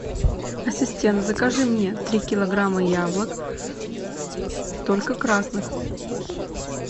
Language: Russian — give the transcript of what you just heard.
ассистент закажи мне три килограмма яблок только красных